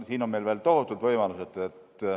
Siin on meil veel tohutud võimalused.